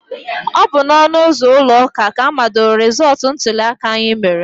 Ọ bụ n'ọnụ ụzọ ụlọ ụka ka amadoro rezọtụ ntuliaka anyị mere.